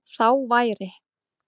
Þá væri